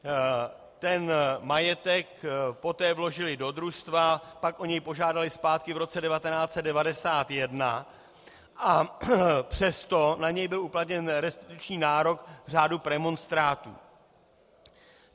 Ten majetek poté vložily do družstva, pak o něj požádaly zpátky v roce 1991, a přesto na něj byl uplatněn restituční nárok řádu premonstrátů.